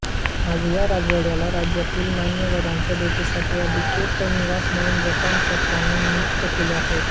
आज या राजवाड्याला राज्यातील मान्यवरांच्या भेटीसाठी अधिकृत निवास म्हणून जपान सरकारने नियुक्त केलेले आहे